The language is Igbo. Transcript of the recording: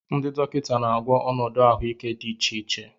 Ndị dọkịta na-agwọ ọnọdụ ahụike dị iche iche.